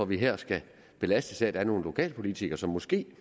vi her skal belastes af at der er nogle lokalpolitikere som måske